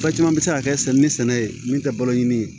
Ba caman bɛ se ka kɛ ni sɛnɛ ye min tɛ balo ɲini